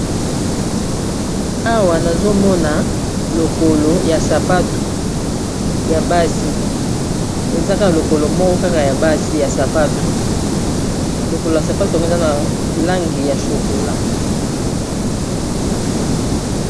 Awa nazomona lokolo ya sapatu ya basi ezaka lokolo moko kaka ya basi ya sapatu lokolo ya sapatu tango eza na langi ya shokola.